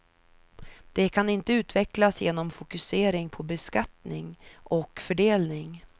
Det kan inte utvecklas genom fokusering på beskattning och fördelning.